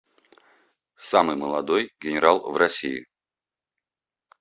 самый молодой генерал в россии